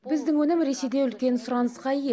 біздің өнім ресейде үлкен сұранысқа ие